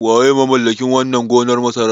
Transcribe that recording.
Waye mamallakin wannan gonar masarar?